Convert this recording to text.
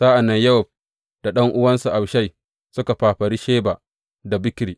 Sa’an nan Yowab da ɗan’uwansa Abishai suka fafari Sheba ɗan Bikri.